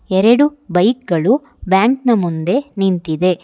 ಎರಡು ಬೈಕ್ ಗಳು ಬ್ಯಾಂಕ್ ನ ಮುಂದೆ ನಿಂತಿದೆ.